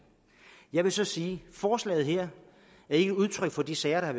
jeg vil så sige forslaget her ikke er udtryk for de sager der